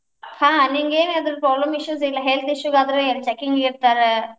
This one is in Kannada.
ಹಾ ನಿಂಗೇನಾದ್ರೂ problem issues ಇಲ್ಲಾ health issues ಆದ್ರ checking ಇರ್ತಾರ.